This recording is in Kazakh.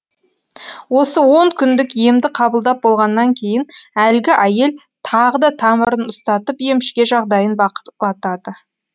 осы он күндік емді қабылдап болғаннан кейін әлгі әйел тағы да тамырын ұстатып емшіге жағдайын бақылатады